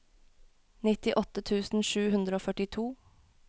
nittiåtte tusen sju hundre og førtito